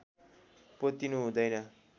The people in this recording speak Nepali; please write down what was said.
पोतिनु हुँदैन